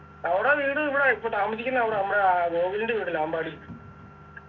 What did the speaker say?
അവിടെ വീട് ഇവിടെ ഇപ്പൊ താമസിക്കുന്നെ അവിടെ നമ്മുടെ ആഹ് ഗോവിന്ദൻ്റെ വീടില്ലേ അമ്പാടി